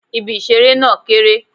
Ibi ìṣeré náà kéré.